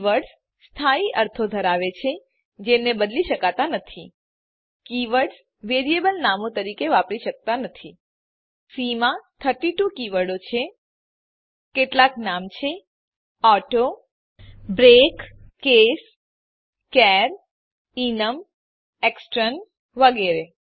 keywords સ્થાયી અર્થો ધરાવે છે જેને બદલી શકાતા નથી કીવર્ડ્સ વેરિએબલ નામો તરીકે વાપરી શકાતા નથી સી માં 32 કી વર્ડો છે કેટલાક નામ છે ઓટો બ્રેક કેસ charએનમ એક્સટર્ન વગેરે